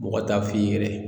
Mɔgɔ t'a f'i yɛrɛ ye